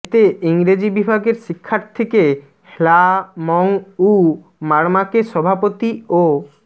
এতে ইংরেজি বিভাগের শিক্ষার্থীকে হ্লা মং উ মারমাকে সভাপতি ও